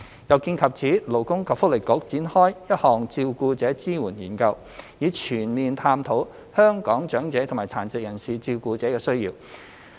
有見及此，勞工及福利局展開一項照顧者支援研究，以全面探討香港長者和殘疾人士照顧者的需要。